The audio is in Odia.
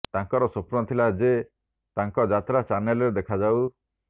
ତାଙ୍କର ସ୍ବପ୍ନ ଥିଲା ଯେ ତାଙ୍କ ଯାତ୍ରା ଚ୍ୟାନେଲରେ ଦେଖାଯାଉ